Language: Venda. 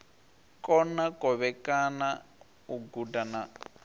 kona kovhekana u guda na